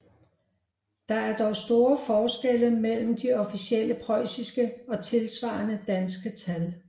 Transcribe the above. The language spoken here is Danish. Der er dog store forskelle mellem de officielle preussiske og tilsvarende danske tal